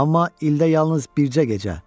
Amma ildə yalnız bircə gecə.